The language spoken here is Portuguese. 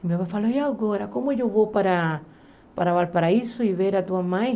Minha pai falou, e agora, como eu vou para para Valparaíso e ver a tua mãe?